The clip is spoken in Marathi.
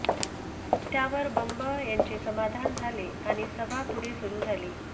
त्यावर बंब यांचे समाधान झाले आणि सभा पुढे सुरू झाली